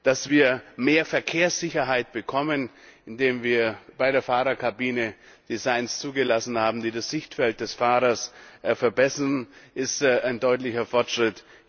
Dass wir mehr Verkehrssicherheit bekommen, indem wir bei der Fahrerkabine Designs zugelassen haben, die das Sichtfeld des Fahrers verbessern, ist ein deutlicher Fortschritt.